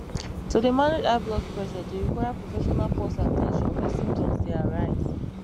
to dey manage high blood pressure dey require professional pause at ten tion wen symptoms dey arise